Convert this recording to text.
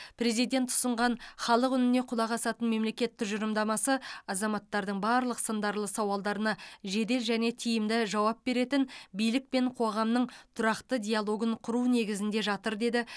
президент ұсынған халық үніне құлақ асатын мемлекет тұжырымдамасы азаматтардың барлық сындарлы сауалдарына жедел және тиімді жауап беретін билік пен қоғамның тұрақты диалогын құру негізінде жатыр деді